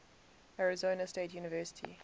arizona state university